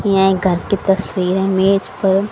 ये एक घर की तस्वीर है मेज पर--